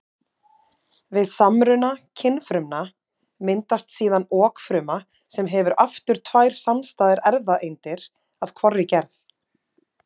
Við samruna kynfrumna myndast síðan okfruma sem hefur aftur tvær samstæðar erfðaeindir af hvorri gerð.